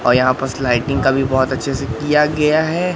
और यहां पर स्लाइडिंग कभी बहोत अच्छे से किया गया है।